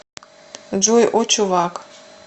джой о чувак